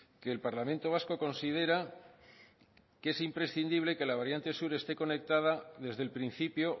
que el parlamento vasco considera que es imprescindible que la variante sur esté conectada desde el principio